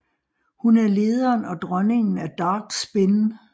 Hun er lederen og dronningen af Dark Spin